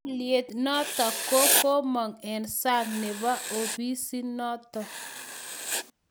Aliyet notok ko komong' eng' sang' nebo ofisit notok